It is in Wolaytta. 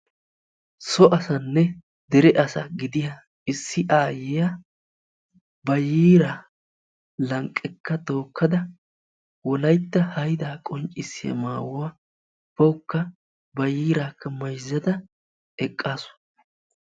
so asanne dere asa gidiya issi aayyiya ba yiiraa lanqekka tookada wolayitta hayida qonccissiyaa maayuwaa bawukka ba yiiraakka mayizada eqqaasu.